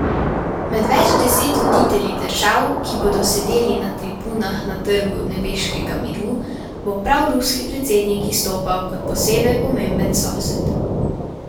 Med več deset voditelji držav, ki bodo sedeli na tribunah na Trgu nebeškega miru, bo prav ruski predsednik izstopal kot posebej pomemben sosed.